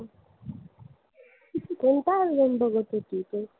कोणता album बघत होती तू?